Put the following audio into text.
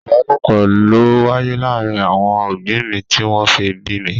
Ìbálòpọ̀ ló wáyé láàárín àwọn òbí mi tí wọ́n fi bí mi.